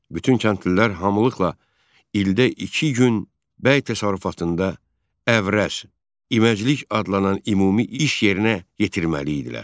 Bütün kəndlilər hamılıqla ildə iki gün bəy təsərrüfatında əvrəz, iməclik adlanan ümumi iş yerinə yetirməli idilər.